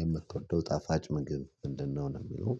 የምትወደው ጣፋጭ ምግብ ምንድነው ነው የሚለው?